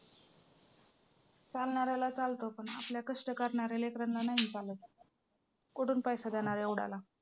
चालणाऱ्याला चालतं पण आपल्या कष्ट करणाऱ्या लेकरांना नाही चालत कुठून पैसा देणार एवढ्याला?